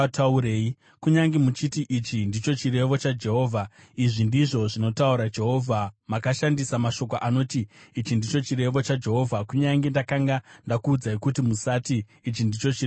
Kunyange muchiti, ‘Ichi ndicho chirevo chaJehovha,’ izvi ndizvo zvinotaura Jehovha: Makashandisa mashoko anoti, ‘Ichi ndicho chirevo chaJehovha,’ kunyange ndakanga ndakuudzai kuti musati, ‘Ichi ndicho chirevo chaJehovha’.